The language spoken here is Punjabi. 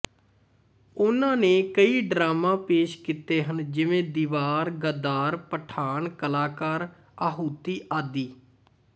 ਉਨ੍ਹਾਂ ਨੇ ਕਈ ਡਰਾਮਾ ਪੇਸ਼ ਕੀਤੇ ਹਨ ਜਿਵੇਂ ਦੀਵਾਰ ਗ਼ਦਾਰ ਪਠਾਨ ਕਲਾਕਾਰ ਆਹੂਤੀ ਆਦਿ